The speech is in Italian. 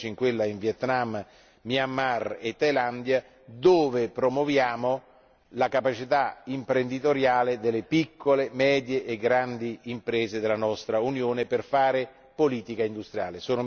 Sono reduce dalla missione in Vietnam, Myanmar e Thailandia, dove promuoviamo la capacità imprenditoriale delle piccole, medie e grandi imprese della nostra Unione per fare politica industriale.